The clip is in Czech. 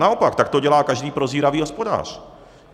Naopak, tak to dělá každý prozíravý hospodář.